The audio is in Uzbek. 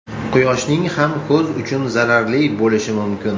Quyoshning ham ko‘z uchun zararli bo‘lishi mumkin.